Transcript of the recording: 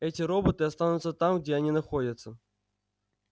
эти роботы останутся там где они находятся